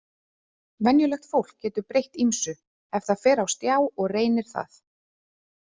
Venjulegt fólk getur breytt ýmsu ef það fer á stjá og reynir það.